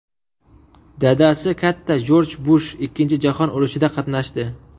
Dadasi katta Jorj Bush Ikkinchi jahon urushida qatnashdi.